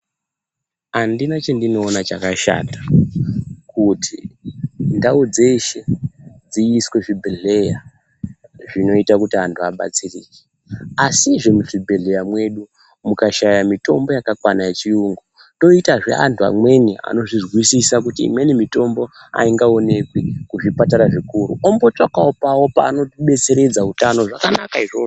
Andina chandinoona chakashata kuti ndau dzeshe dziiswe zvibhehlera, zvinoita kuti antu abatsirike, asi zve muzvibhelre mwedu mukashaya mitombo yakakwana yechiyungu toita zve antu amweni anozvizwisisa kuti imweni mitombo aingaoneki kuzvipatara zvikuru ombotsvakawo pawo paanobetseredza utano zvakanaka izvozvo.